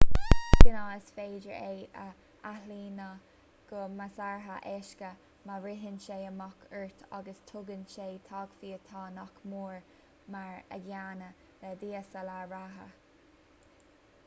de ghnáth is féidir é a athlíonadh go measartha éasca má ritheann sé amach ort agus tugann sé taifeach atá nach mór mar an gcéanna le dslr reatha